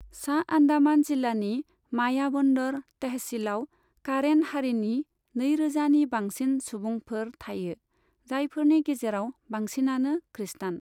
सा आन्डामान जिल्लानि मायाबन्दर तहसीलआव कारेन हारिनि नैरोजानि बांसिन सुबुंफोर थायो, जायफोरनि गेजेराव बांसिनानो खृष्टान।